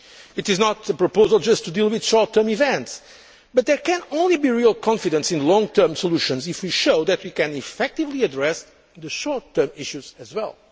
the future. It is not a proposal intended simply to deal with short term events, but there can only be real confidence in long term solutions if we show that we can effectively address the short term issues